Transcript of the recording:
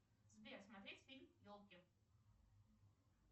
сбер смотреть фильм елки